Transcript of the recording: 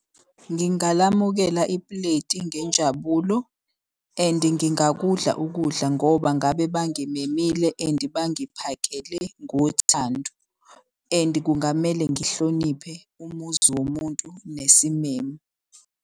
Ngingalamukela ipuleti ngenjabulo and ngingakudla ukudla ngoba ngabe bangimemile and bangiphakele ngothando. And kungamele ngihloniphe umuzi womuntu nesimemo.